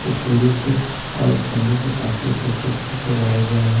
ये फूलों से और स्टैंडो से काफी खूबसूरत सजाया गया है।